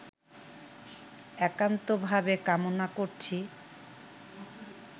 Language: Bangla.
একান্তভাবে কামনা করছি